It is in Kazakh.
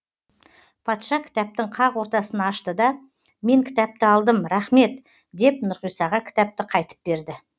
патша кітаптың қақ ортасын ашты да мен кітапты алдым рахмет деп нұрғисаға кітапты қайтып берді